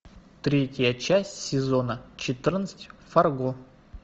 третья часть сезона четырнадцать фарго